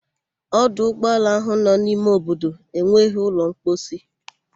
Ọdụ ụgbọala ahụ nọ n'ime obodo enweghị ụlọ mposi.